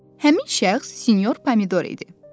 Həmin şəxs sinyor Pomidor idi.